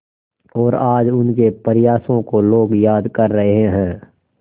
और आज उनके प्रयासों को लोग याद कर रहे हैं